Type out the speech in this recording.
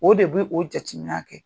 O de b'o jateminɛ kɛ